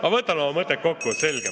Ma vabandan!